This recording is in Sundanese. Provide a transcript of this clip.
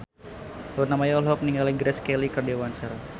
Luna Maya olohok ningali Grace Kelly keur diwawancara